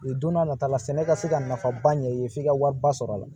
Don n'a nata la sɛnɛ ka se ka nafaba ɲɛ i ye f'i ka wari ba sɔrɔ a la